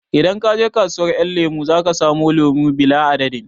Idan ka je kasuwar ƴan lemo zaka samu lemo bila adadin